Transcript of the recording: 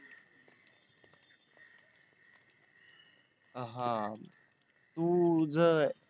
हा तुझ